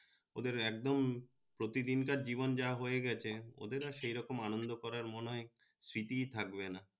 ওদের একদম প্রতি দিনকার জীবন যা হয়ে গেছে ওদের আর সে রকম আনন্দ করার মনে হয় স্মৃতি থাকবে না